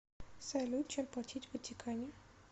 салют чем платить в ватикане